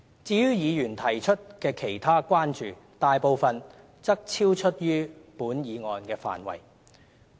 至於議員提出的其他關注，大部分則超出本議案的範圍。